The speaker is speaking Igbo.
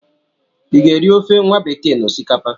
I ga-eri ofe nwabekee na osikapa?